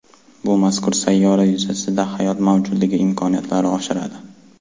Bu mazkur sayyora yuzasida hayot mavjudligi imkoniyatlarini oshiradi.